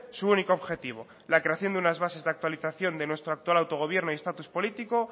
su único objetivo la creación de unas bases de actualización de nuestro actual autogobierno y estatus político